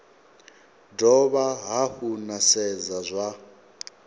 dovha hafhu na sedza zwa